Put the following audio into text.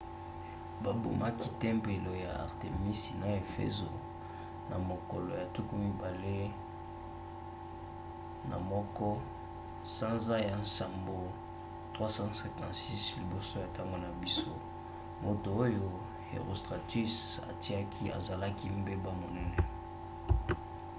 babomaki tempelo ya artemisi na efezo na mokolo ya 21 sanza ya nsambo 356 liboso ya ntango na biso moto oyo herostratus atiaki ezalaki mbeba monene